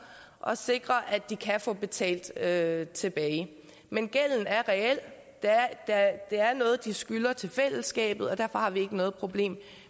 og sikre at de kan få betalt tilbage tilbage men gælden er reel det er noget de skylder til fællesskabet og derfor har vi ikke noget problem